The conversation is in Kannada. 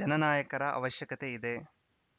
ಜನನಾಯಕರ ಅವಶ್ಯಕತೆ ಇದೆ